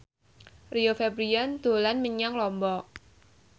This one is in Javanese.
Rio Febrian dolan menyang Lombok